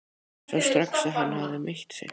Sá strax að hann hafði meitt sig.